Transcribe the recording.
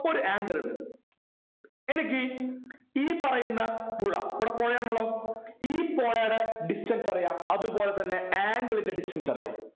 ഒരു angle ഇണ്ട് എനിക്ക് ഈ ഈ പറയുന്ന പുഴ ഈട പുഴയാണല്ലോ ഈ പുഴയുടെ distance അറിയാം അതു പോലെ തന്നെ angle ൻ്റെ distance അറിയാം